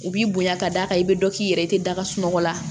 U b'i bonya ka d'a kan i bɛ dɔ k'i yɛrɛ ye i tɛ daga sunɔgɔ la